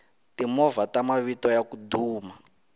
timovha ta mavito yaku duma